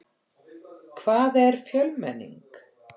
Hvað er fjölmenning?